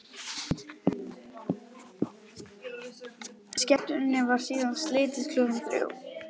Skemmtuninni var síðan slitið klukkan þrjú.